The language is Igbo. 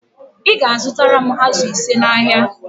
Ị ga-azụtara m ázụ̀ ise n'ahịa